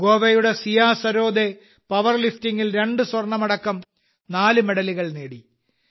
ഗോവയുടെ സിയ സരോദേ പവർലിഫ്റ്റിംഗിൽ 2 സ്വർണമടക്കം നാല് മെഡലുകൾ നേടി